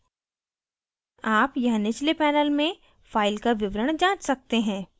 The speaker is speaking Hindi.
आप यहाँ निचले panel में file का विवरण जाँच सकते हैं